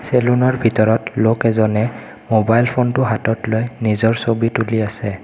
Salon ৰ ভিতৰত লোক এজনে মোবাইল ফোন টো হাতত লৈ নিজৰ ছবি তুলি আছে।